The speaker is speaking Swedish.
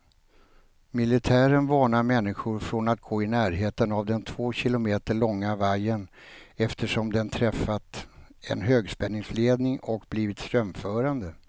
Militären varnar människor från att gå i närheten av den två kilometer långa vajern, eftersom den träffat en högspänningsledning och blivit strömförande.